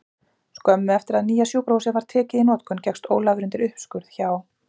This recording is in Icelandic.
Skömmu eftir að nýja sjúkrahúsið var tekið í notkun gekkst Ólafur undir uppskurð hjá